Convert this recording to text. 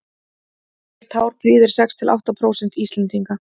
rautt hár prýðir sex til átta prósent íslendinga